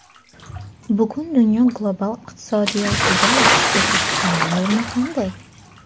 Bugun dunyo global iqtisodiyotida O‘zbekistonning o‘rni qanday?.